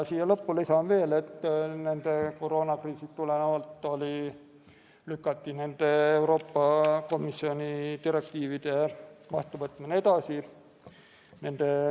Lisan veel, et koroonakriisist tulenevalt lükati nende Euroopa Komisjoni direktiivide vastuvõtmine edasi.